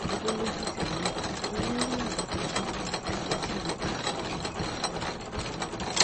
ọdún méjì sẹyìn ni wọn rí àbùkù yìí kò sì sí ìyípadà kankan